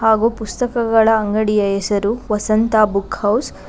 ಹಾಗು ಪುಸ್ತಕಗಳ ಅಂಗಡಿಯ ಹೆಸರು ವಸಂತ ಬುಕ್ ಹೌಸ್ .